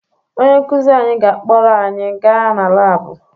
Onye nkụzi anyị ga-akpọrọ anyị gaa na laabụ